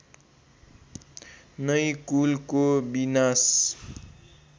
नै कुलको विनाश